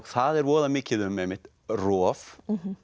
það er voða mikið um einmitt rof